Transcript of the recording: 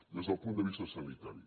des del punt de vista sanitari